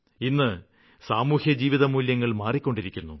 ഇന്ന് സാമൂഹ്യ ജീവിതമൂല്യങ്ങള് മാറിക്കൊണ്ടിരിക്കുന്നു